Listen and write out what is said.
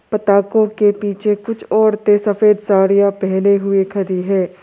पटाखों के पीछे कुछ औरतें सफेद साड़ियां पेहने हुए खड़ी है।